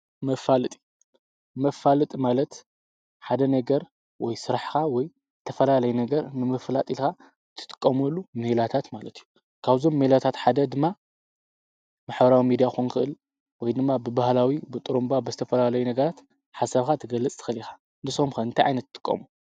መፋለጢ፡- መፋለጢ ማለት ሓደ ነገር ወይ ስራሕካ ወይ ዝተፈላለዩ ነገር ንምፍላጥ ኢልካ እትጥቀመሉ ሜላታት ማለት እዩ፡፡ ካብዞም ሜላታት ሓደ ድማ ማሕበራዊ ሚድያ ክኮን ይክእል ወይ ድማ ብባህላዊ ብጡርንባ ብዝተፈላለዩ ነገራት ሓሳብካ ክትገልፅ ትክእል ኢካ፡፡ ንስኩም ከ እንታይ ዓይነት ትጥቀሙ?